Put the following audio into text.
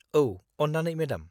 -औ, अन्नानै, मेडाम।